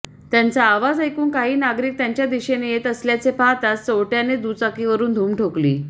त्यांचा आवाज ऐकून काही नागरिक त्यांच्या दिशेन येत असल्याचे पहाताच चोरट्याने दुचाकीवरुन धुम ठोकली